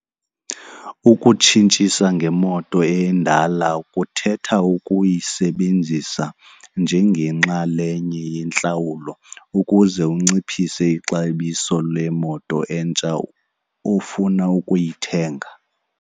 Ukutshintshasa ngemoto endala kuthetha ukuyisebenzisa njengenxalenye yentlawulo ukuze unciphise ixabiso lemoto entsha ofuna ukuyithenga.